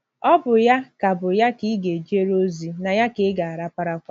Ọ bụ ya ka bụ ya ka ị ga - ejere ozi, na ya ka ị ga - araparakwa. ”